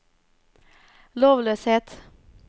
lovløshet